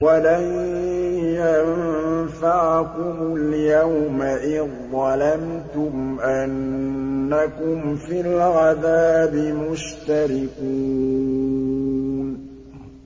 وَلَن يَنفَعَكُمُ الْيَوْمَ إِذ ظَّلَمْتُمْ أَنَّكُمْ فِي الْعَذَابِ مُشْتَرِكُونَ